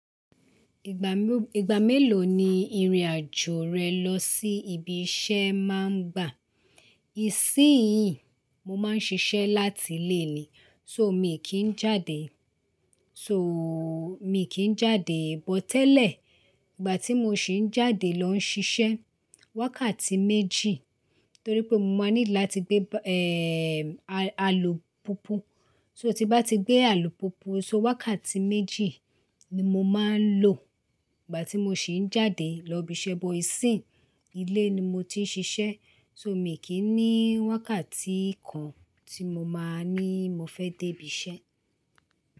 Ìgbà mélòó, ìgbà mélòó ni ìrìn-àjò rẹ lọ sí ibi iṣẹ́ máa ń gbà? Ìsínyìí mo máa ń ṣiṣẹ́ láti ilé ni, so mi kì í jáde, so mi kì í jáde but tẹ́lẹ̀. Ìgbà tí mo sì ń jáde lọ ń ṣiṣẹ́, wákàtí méjì torí pé mo máa ní láti gbé, à-àlùpùpù. So, tí bá ti gbé àlùpùpù, so wákàtí méjì ni mo máa ń lò ìgbà tí mo sì ń jáde lọ ibi iṣẹ́ bọ ìsínyí ilé ni mo ti ń ṣiṣẹ́ so, mi kì í ní wákàtí kan tí mo máa ní mo fẹ́ dé ibi iṣẹ́